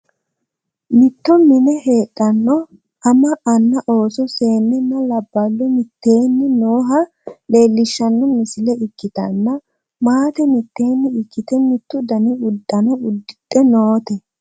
mitto mine heedhanno ama anna ooso seennenna labballo mitteenni nooha leelishshanno misile ikkitanna, maate mitteenni ikkite mittu dani uddano uddidhe noote.